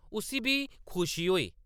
उस्सी बी खुशी होई ।